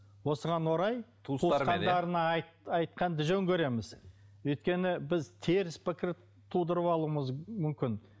осыған орай туысқандарына айтқанды жөн көреміз өйткені біз теріс пікір тудырып алуымыз мүмкін